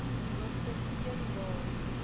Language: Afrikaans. hoogstens een jaar